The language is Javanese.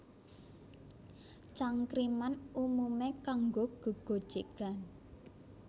Cangkriman umumé kanggo gégojégan